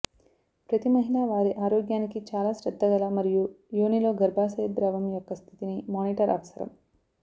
ప్రతి మహిళ వారి ఆరోగ్యానికి చాలా శ్రద్ధగల మరియు యోని లో గర్భాశయ ద్రవం యొక్క స్థితిని మానిటర్ అవసరం